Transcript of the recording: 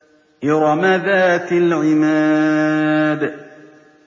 إِرَمَ ذَاتِ الْعِمَادِ